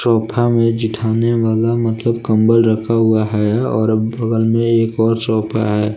Sofa मे वाला मतलब कंबल रखा हुआ है और बगल में एक और शॉप है।